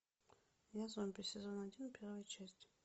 я зомби сезон один первая часть